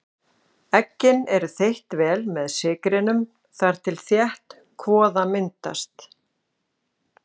Eggin eru þeytt vel með sykrinum þar til þétt kvoða myndast.